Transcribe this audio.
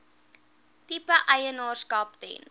tipe eienaarskap ten